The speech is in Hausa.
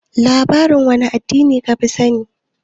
Labarin wane addini ka fi sani?